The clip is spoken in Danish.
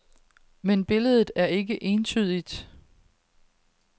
Men billedet er ikke entydigt.